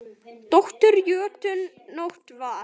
Dóttir jötuns Nótt var.